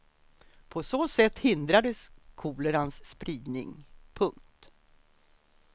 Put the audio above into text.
På så sätt hindrades kolerans spridning. punkt